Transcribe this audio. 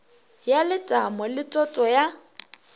ya letamo le toto ya